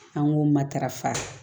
An k'o matarafa